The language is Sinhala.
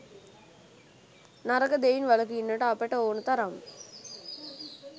නරක දෙයින් වළකින්නට අපට ඕන තරම්